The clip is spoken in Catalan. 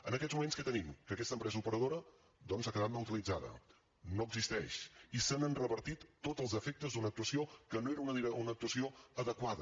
en aquests moments què tenim que aquesta empresa operadora doncs ha quedat neutralitzada no existeix i s’han revertit tots els efectes d’una actuació que no era una actuació adequada